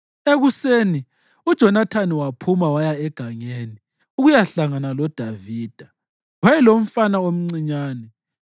Ekuseni uJonathani waphuma waya egangeni ukuyahlangana loDavida. Wayelomfana omncinyane,